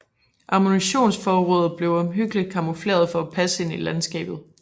Ammunitionsforråd blev omhyggeligt camoufleret for at passe ind i landskabet